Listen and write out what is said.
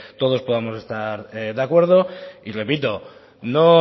todos podamos estar de acuerdo y repito no